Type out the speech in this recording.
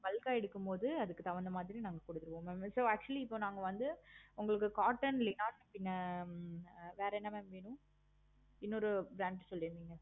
bulk ஆஹ் எடுக்கும் பொது அதுக்கு தகுந்த மாதிரி so actually இப்போ நாங்க வந்து cotton லையா பின்ன வேற என்ன வேணும்? இன்னொரு brand சொல்லிருந்திங்க.